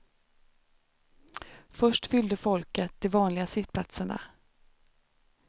Först fyllde folket de vanliga sittplatserna.